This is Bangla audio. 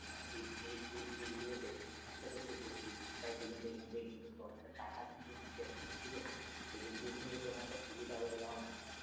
মানে এই এইগুলোতে খরচা টা একটু বেশি তাই তুই যদি এখান থেকে টাকা নিতে চাস ঠিক আছে এই degree র কিন্তু তেমন একটা সুবিধা হবে বলে আমার মনে হয়না